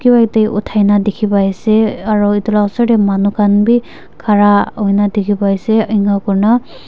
othai nah dikhi pai ase aro itu lah osor teh manu khan bhi khara hoi nah dikhi pai ase enika kurna --